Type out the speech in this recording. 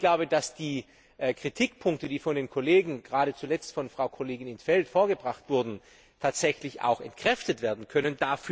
Aber ich glaube, dass die Kritikpunkte, die von den Kollegen gerade zuletzt von Frau Kollegin in't Veld vorgebracht wurden, tatsächlich auch entkräftet werden können.